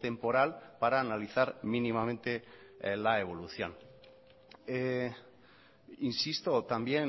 temporal para analizar mínimamente la evolución insisto también